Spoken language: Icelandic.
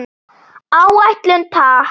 Áætlun, takk.